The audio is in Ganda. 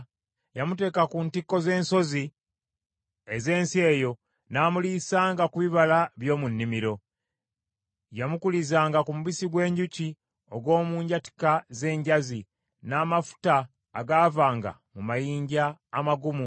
Yamuteeka ku ntikko z’ensozi ez’ensi eyo, n’amuliisanga ku bibala by’omu nnimiro. Yamukulizanga ku mubisi gw’enjuki ogw’omu njatika z’enjazi n’amafuta agaavanga mu mayinja amagumu